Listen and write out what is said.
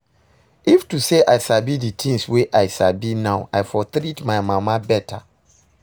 If to say I sabi the things wey I sabi now I for treat my mama better